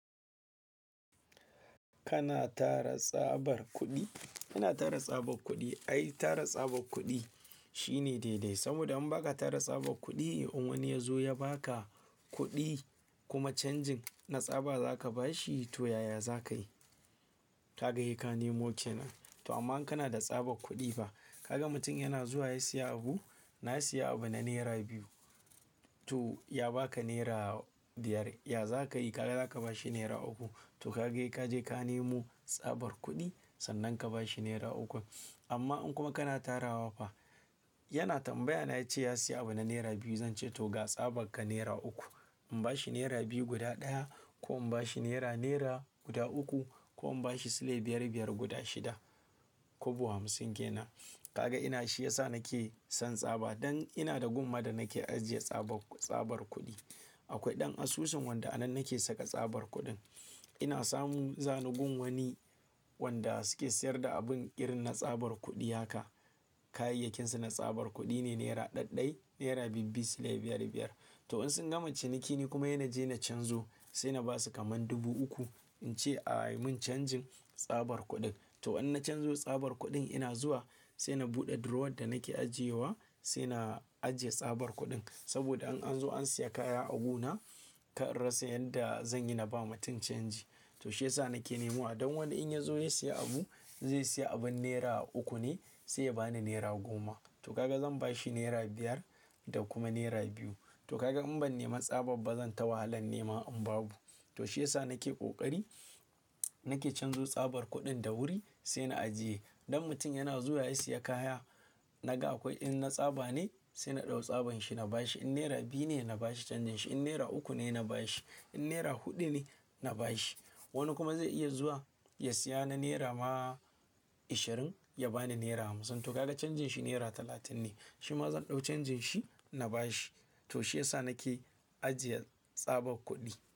Kana tara tsabar kuɗi? Ina tara tsabar kuɗi. Ai, tara tsabar kuɗi shine daidai. Saboda in baka tara tsabar kuɗi, in wani ya zo ya baka kuɗi kuma canjin na tsaba zaka bashi, to yaya zakayi? Kaga hikaye ka nemo kenan. To amma an kana da tsabar kuɗi fa. Kaga mutum yana zuwa ya siya abu, na siya abu na naira biyu. To ya baka naira biyar, ya zakayi? Kaga zaka bashi naira uku. To kaga he kaje ka nemo tsabar kuɗi sannan ka bashi naira ukun. Amma in kuma kana tarawa fa, yana tambaya na ce ya siya abu na naira biyu, zan ce to ga tsaban ka naira uku. In bashi naira biyu guda ɗaya ko in bashi naira, naira guda uku ko in bashi silai biyar biyar guda shida, kwabo hamsin kenan. Kaga ina shi yasa nake son tsaba. Dan ina da gumma da nake ajiye tsabar, tsabar kuɗi. Akwai ɗan asusun wanda a nan nake saka tsabar kuɗin. Ina samun zanigun wani wanda suke siyar da abun irin na tsabar kuɗi haka. Kayayyakinsu na tsabar kuɗi ne. Naira ɗaiɗai, naira biyu biyu, silai biyar biyar. To in sun gama ciniki ni kuma ina je na canzo, sai na basu kaman dubu uku. In ce a yi mun canjin tsabar kuɗin. To in na canzo tsabar kuɗin ina zuwa sai na buɗe drawer da nake ajiyewa sai na ajiye tsabar kuɗin. Saboda in an zo an siya kaya agu na, kar rassa yanda zan yi na ba mutum canji. To shiyasa nake nemo a, don wanda in ya zo ya siya abu, zai siya abin naira uku ne sai ya bani naira goma. To kaga zan bashi naira biyar da kuma naira biyu. To kaga in ban nema tsaba ba zan ta wahalan nema in babu. To shiyasa nake ƙoƙari nake canzo tsabar kuɗin da wuri sai na ajiye. Don mutum yana zuwa ya siya kaya naga akwai, in na tsaba ne sai na ɗau tsaban shi na bashi. In naira biyu ne na bashi canjin shi. In naira uku ne na bashi. In naira huɗu ne na bashi. Wani kuma zai iya zuwa ya siya na naira ma ishirin ya bani naira hamsin. To kaga canjin shi naira talatin ne. Shi ma zan ɗau canjin shi na bashi. To shiyasa nake ajiye tsabar kuɗi.